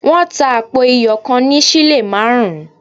Wọ́n tà àpò iyọ̀ kan ní sílè márùn-ún